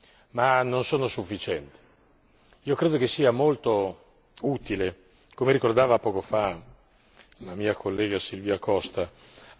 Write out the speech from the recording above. Io credo che sia molto utile, come ricordava poco fa l'onorevole Silvia Costa, agire anche sul versante culturale.